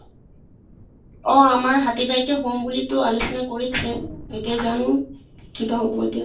অহ আমাৰ হাতী বাৰিতে হম বুলিতো আলোচনা কৰিছে, এতিয়া জানো কিবা হʼব এতিয়া।